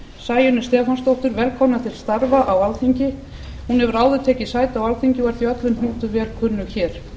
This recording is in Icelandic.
sæunni stefánsdóttur velkomna til starfa á alþingi hún hefur áður tekið sæti á alþingi og er því öllum hnútum vel kunnug hér